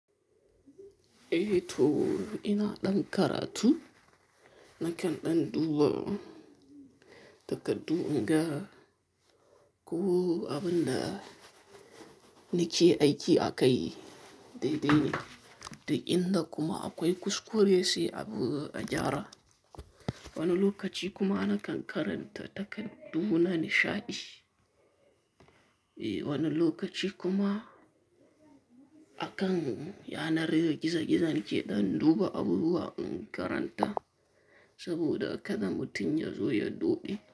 Eh to ina ɗan karatu, nakan ɗan duba takardu in ga ko abun da nike aiki akai dai dai ne. Duk in da kuma akwai kuskure sai abi a gyara. Wani lokaci kuma nakan karanta takardu na nishaɗi. Eh wani lokaci kuma akan yanar gizo-gizo nike ɗan duba abubuwa in karanta saboda kada mutum ya zo ya doɗe.